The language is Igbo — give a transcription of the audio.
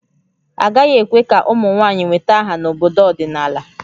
Agaghị ekwe ka ụmụ nwanyị nweta aha n'obodo ọdịnala